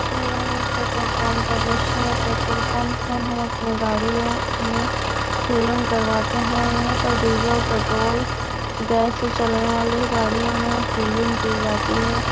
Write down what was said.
यह एक petrol pump का दृश्य है। पट्रोल पंप में हम अपनी गाड़ियों में फिलिंग करवाते हैं। यहाँ पर डीजल पट्रोल गैस से चलने वाले गाड़ियों में फिलिंग की जाती है।